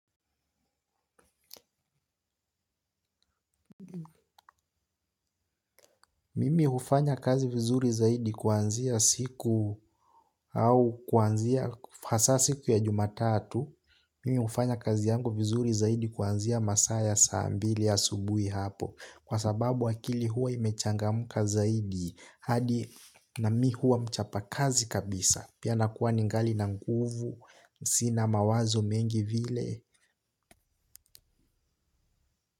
Mimi hufanya kazi vizuri zaidi kuanzia siku au kuanzia hasa siku ya jumatatu. Mimi hufanya kazi yangu vizuri zaidi kuanzia masaa ya saa mbili asubuhi hapo. Kwa sababu akili huwa imechangamka zaidi hadi na mimi huwa mchapakazi kabisa. Pia nakuwa ni ngali na nguvu, sina mawazo mengi vile.